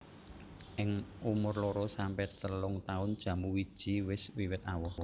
Ing umur loro sampe telung taun jambu wiji wis wiwit awoh